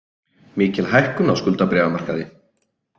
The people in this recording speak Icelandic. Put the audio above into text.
Mikil hækkun á skuldabréfamarkaði